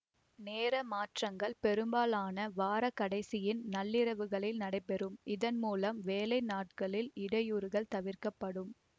நேர மாற்றங்கள் பெரும்பாலாக வார கடைசியின் நள்ளிரவிலேயே நடைபெறும் இதன் மூலம் வேலை நாட்களில் இடையூறுகள் தவிர்க்கப்படும்